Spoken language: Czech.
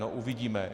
No uvidíme.